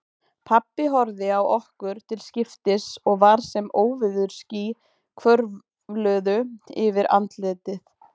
Pabbi horfði á okkur til skiptis og var sem óveðursský hvörfluðu yfir andlitið.